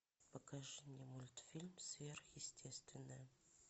покажи мне мультфильм сверхъестественное